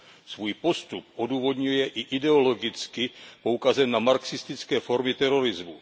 Svůj postup odůvodňuje i ideologicky poukazem na marxistické formy terorismu.